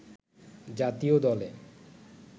জাতীয় দলে